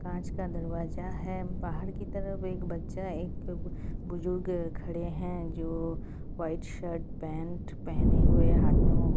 कांच का दरवाज़ा है बाहर की तरफ एक बच्चा एक बुजुर्ग खड़े है जो वाइट शर्ट पेंट पहने हुए हाथ में मोबाइल --